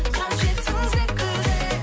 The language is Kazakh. қажетсің секілді